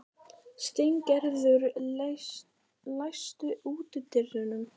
Steingerður, læstu útidyrunum.